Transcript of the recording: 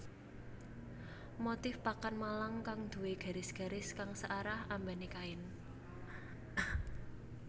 Motif pakan malang kang duwé garis garis kang searah ambané kain